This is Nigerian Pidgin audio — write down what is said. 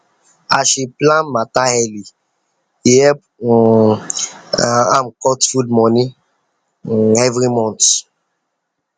as she plan matter early e help um am cut food money um everymonth